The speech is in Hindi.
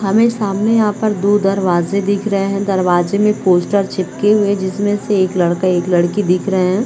हमें सामने यहाँ पर दो दरवाजे दिख रहे है दरवाजे पे पोस्टर चिपके हुए है जिसमे से एक लड़की एक लड़का दिख रहे है।